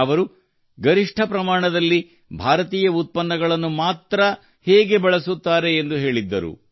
ಅವರು ಗರಿಷ್ಠ ಪ್ರಮಾಣದಲ್ಲಿ ಭಾರತೀಯ ಉತ್ಪನ್ನಗಳನ್ನು ಮಾತ್ರ ಹೇಗೆ ಬಳಸುತ್ತಾರೆ ಎಂದು ಹೇಳಿದ್ದರು